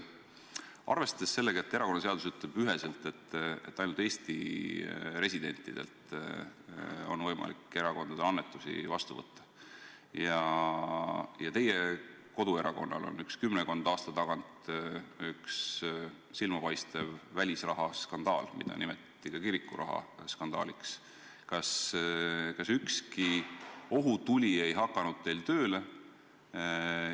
Arvestades seda, et erakonnaseadus ütleb üheselt: ainult Eesti residentidelt on võimalik erakondade annetusi vastu võtta, ja teie koduerakonnal on kümnekonna aasta tagant üks silmapaistev välisrahaskandaal, mida nimetati ka kirikurahaskandaaliks, kas teil ükski ohutuli tööle ei hakanud?